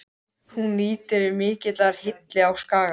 Hún nýtur mikillar hylli á Skaganum.